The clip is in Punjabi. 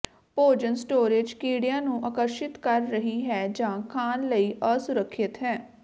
ਭੋਜਨ ਸਟੋਰੇਜ ਕੀੜਿਆਂ ਨੂੰ ਆਕਰਸ਼ਤ ਕਰ ਰਹੀ ਹੈ ਜਾਂ ਖਾਣ ਲਈ ਅਸੁਰੱਖਿਅਤ ਹੈ